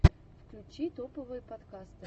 включи топовые подкасты